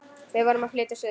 Við vorum að flytja suður.